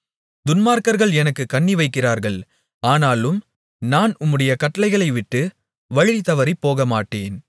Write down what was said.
துன்மார்க்கர்கள் எனக்குக் கண்ணிவைக்கிறார்கள் ஆனாலும் நான் உம்முடைய கட்டளைகளை விட்டு வழிதவறிப் போகமாட்டேன்